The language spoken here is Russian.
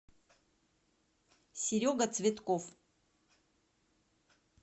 серега цветков